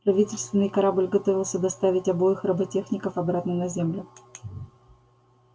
правительственный корабль готовился доставить обоих роботехников обратно на землю